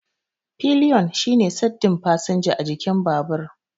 Pillion shine saddin fasinja a jikin babur.